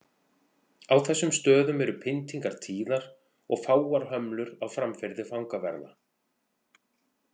Á þessum stöðum eru pyntingar tíðar og fáar hömlur á framferði fangaverða.